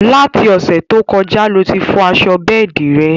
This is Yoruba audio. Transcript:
Láti Òsẹ̀ to kọjá lo tí fọ aṣọ bẹ́ẹ̀di rẹ̀